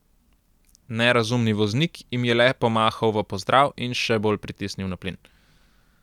Nerazumni voznik jim je le pomahal v pozdrav in še bolj pritisnil na plin.